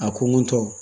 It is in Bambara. A ko n ko tɔ